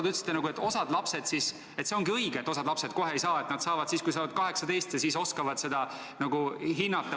Ta ütlesite nagu, et see ongi õige, et osa lapsi kohe ei saa kodakondsust, et osa saab selle siis, kui nad on saanud 18 ja oskavad seda nagu hinnata.